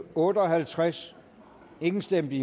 otte og halvtreds imod stemte